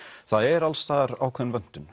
það er alls staðar ákveðin vöntun